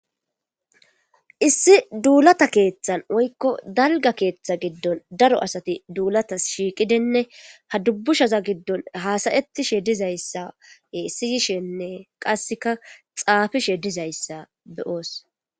Issi duullatta keeththan woykko dalgga keeththa giddon daro asati duullatas shiiqqidinne ha duubbushaza giddon haasayettishe dizayssa e siiyishenne qasekka xaafishe dizayssa be'os